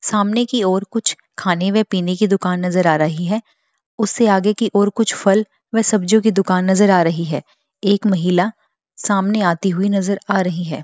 सामने की ओर कुछ खाने व पीने की दुकान नजर आ रही है उस से आगे की ओर कुछ फल व सब्जियों की दुकान नजर आ रही है एक महिला सामने आती हुई नजर आ रही है।